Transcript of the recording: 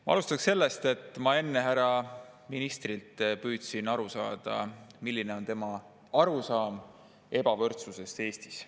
Ma alustan sellest, et ma enne härra ministrilt püüdsin teada saada, milline on tema arusaam ebavõrdsusest Eestis.